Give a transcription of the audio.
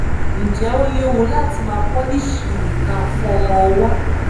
ǹjẹ ó léwu láti máa pọlíìṣìì ìka fún ọmọ ọwọ